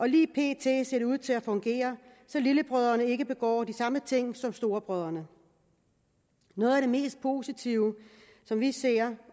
lige pt ser det ud til at fungere så lillebrødrene ikke begår de samme ting som storebrødrene noget af det mest positive som vi ser